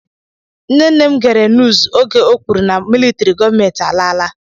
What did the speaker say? Nne nne m gere nuuz oge e kwuru na militrị gọọmenti a laala.